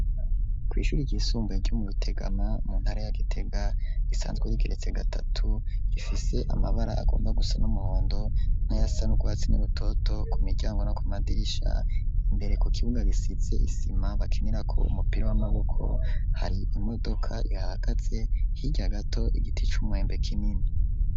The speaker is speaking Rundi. Kw'ishure ryisumbuye ryo mu Rutegama, mu ntara ya Gitega, risanzwe rigeretse gatatu, rifise amabara agomba gusa n'umuhondo n'ayasa n'urwatsi rutoto ku miryango no ku madirisha. Imbere ku kibuga gisize isima bakinirako umupira w'amaboko, hari imodoka ihahagaze, hirya gato igiti c'umwembe kinini.